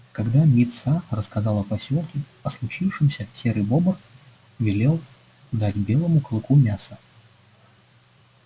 когда мит са рассказал в посёлке о случившемся серый бобр велел дать белому клыку мяса